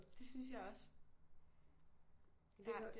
Det synes jeg også ja det